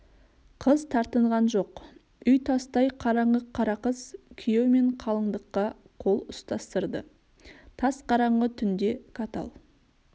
қыз тартынған жоқ үй тастай қараңғы қарақыз күйеу мен қалыңдыққа қол ұстастырды тас қараңғы түнде катал